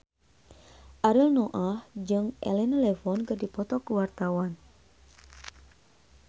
Ariel Noah jeung Elena Levon keur dipoto ku wartawan